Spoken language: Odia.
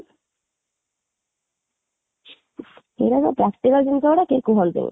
ଏ ଗୁଡା ବା practical ଜିନିଷ ଗୁଡା କେହି କୁହନ୍ତିନି